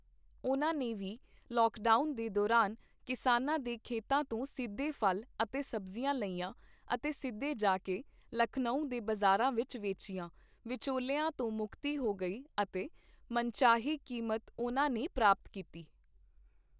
ਉਨ੍ਹਾਂ ਨੇ ਵੀ ਲੌਕਡਾਊਨ ਦੇ ਦੌਰਾਨ ਕਿਸਾਨਾਂ ਦੇ ਖੇਤਾਂ ਤੋਂ ਸਿੱਧੇ ਫ਼ਲ ਅਤੇ ਸਬਜ਼ੀਆਂ ਲਈਆਂ ਅਤੇ ਸਿੱਧੇ ਜਾ ਕੇ ਲਖਨਊ ਦੇ ਬਾਜ਼ਾਰਾਂ ਵਿੱਚ ਵੇਚੀਆਂ, ਵਿਚੋਲਿਆਂ ਤੋਂ ਮੁਕਤੀ ਹੋ ਗਈ ਅਤੇ ਮਨਚਾਹੀ ਕੀਮਤ ਉਨ੍ਹਾਂ ਨੇ ਪ੍ਰਾਪਤ ਕੀਤੀ।